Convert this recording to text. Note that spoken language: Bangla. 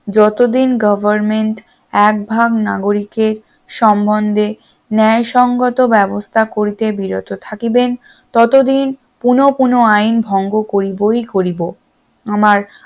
যতদিন government একভাগ নাগরিকের সম্বন্ধে ন্যায় সঙ্গত ব্যবস্থা করিতে বিরত থাকিবেন ততদিন পুন পুন আইন ভঙ্গ করিব করিব আমার